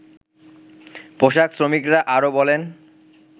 পোশাক শ্রমিকরা আরো বলেন